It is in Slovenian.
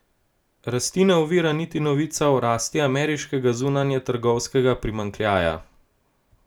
Rasti ne ovira niti novica o rasti ameriškega zunanjetrgovinskega primanjkljaja.